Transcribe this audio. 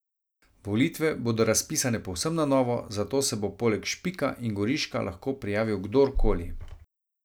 Volitve bodo razpisane povsem na novo, zato se bo poleg Špika in Goriška lahko prijavil kdor koli.